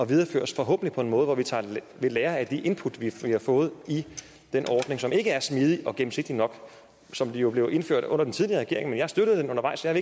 videreføres forhåbentlig på en måde hvor vi tager ved lære af de input vi har fået i den ordning som ikke er smidig og gennemsigtig nok og som jo blev indført under den tidligere regering men jeg støttede den undervejs så jeg